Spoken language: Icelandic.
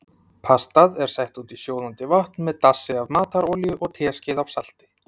Pastað er sett út í sjóðandi vatn með dassi af matarolíu og teskeið af salti.